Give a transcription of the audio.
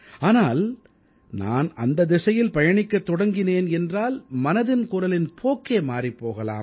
ஆனால் நான் அந்த திசையில் பயணிக்கத் தொடங்கினேன் என்றால் மனதின் குரலின் போக்கே மாறிப் போகலாம்